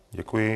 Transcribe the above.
Děkuji.